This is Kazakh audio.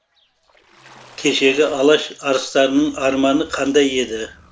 кешегі алаш арыстарының арманы қандай еді